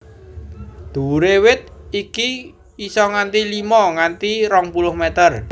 Dhuwuré wit iki isa nganti limo nganti rong puluh meter